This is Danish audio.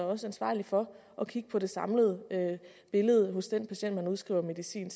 også ansvarlig for at kigge på det samlede billede hos den patient man udskriver medicin